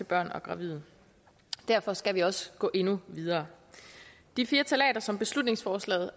børn og gravide derfor skal vi også gå endnu videre de fire ftalater som beslutningsforslaget